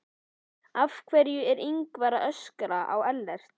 Af hverju er Ingvar að öskra á Ellert?